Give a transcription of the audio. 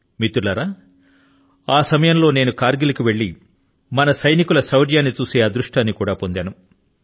మిత్రులారా ఆ సమయం లో నేను కర్ గిల్ కు వెళ్లి మన సైనికుల శౌర్యాన్ని చూసే అదృష్టాన్ని కూడా పొందాను